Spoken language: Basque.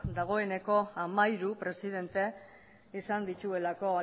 dagoeneko hamairu presidente izan dituelako